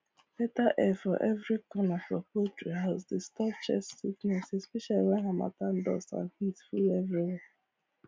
better air for every corner for poultry house dey stop chest sickness especially when harmattan dust and heat full everywhere